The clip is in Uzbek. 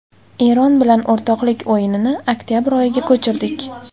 Eron bilan o‘rtoqlik o‘yinini oktabr oyiga ko‘chirdik.